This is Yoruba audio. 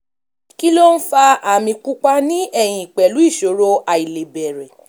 kí ló ń fa àmì pupa ní ẹ̀yìn pẹ̀lú ìṣòro àìlebẹ̀rẹ̀?